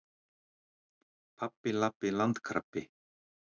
Pabbi- labbi- landkrabbi.